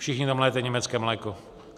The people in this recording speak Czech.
Všichni tam lijete německé mléko.